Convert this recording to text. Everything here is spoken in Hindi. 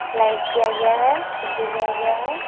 लाइट दिया गया है । खिड़की दिया गया है ।